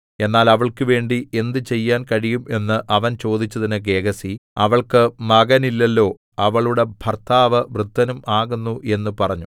എന്നാൽ അവൾക്കുവേണ്ടി എന്തുചെയ്യാൻ കഴിയും എന്ന് അവൻ ചോദിച്ചതിന് ഗേഹസി അവൾക്ക് മകനില്ലല്ലോ അവളുടെ ഭർത്താവ് വൃദ്ധനും ആകുന്നു എന്ന് പറഞ്ഞു